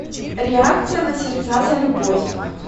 реакция на сердца за любовь